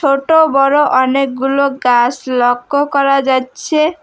ছোট বড় অনেকগুলো গাস লক্ষ করা যাচ্ছে।